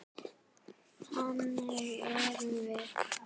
Þannig erum við.